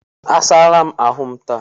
Asaa la m ahụ m taa